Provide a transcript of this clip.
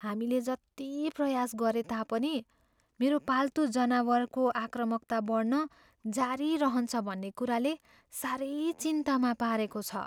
हामीले जति प्रयास गरे तापनि मेरो पाल्तु जनावरको आक्रामकता बढ्न जारी रहन्छ भन्ने कुराले साह्रै चिन्तामा पारेको छ।